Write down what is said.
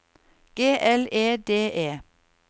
G L E D E